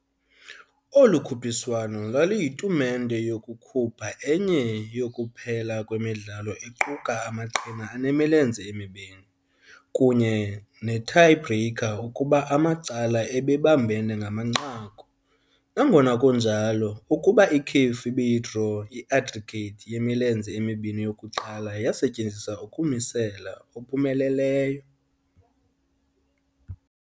Olu khuphiswano lwaluyitumente yokukhupha enye yokuphela kwemidlalo equka amaqhina anemilenze emibini, kunye ne-Tie-Breaker ukuba amacala ebebambene ngamanqaku nangona kunjalo, ukuba ikhefu ibiyi-draw, i-aggregate yemilenze emibini yokuqala yasetyenziswa ukumisela. ophumeleleyo.